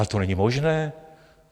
Ale to není možné.